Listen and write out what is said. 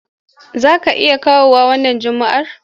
Za ka iya kawowa wannan Juma'ar?